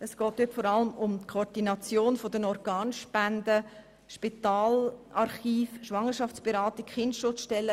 Es geht vor allem um die Koordination der Organspenden, um das Spitalarchiv, die Schwangerschaftsberatung und die Kinderschutzstellen.